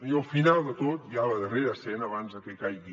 i al final de tot ja a la darrera escena abans de que caigui